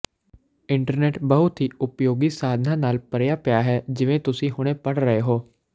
internet ਬਹੁਤ ਹੀ ਉਪਯੋਗੀ ਸਾਧਨਾਂ ਨਾਲ ਭਰਿਆ ਪਿਆ ਹੈ ਜਿਵੇਂ ਤੁਸੀਂ ਹੁਣੇ ਪੜ ਰਹੇ ਹੋ